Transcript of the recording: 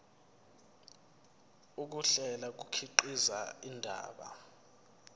ukuhlela kukhiqiza indaba